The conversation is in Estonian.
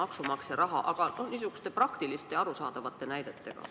Need võiks olla niisugused praktilised ja arusaadavad näited.